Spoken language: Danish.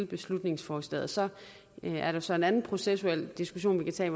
beslutningsforslaget så er der så en anden processuel diskussion vi kan tage